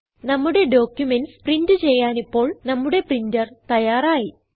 നമ്മുടെ documents print ചെയ്യാനിപ്പോൾ നമ്മുടെ പ്രിന്റർ തയ്യാറായി